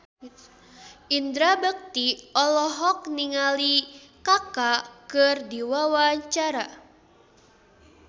Indra Bekti olohok ningali Kaka keur diwawancara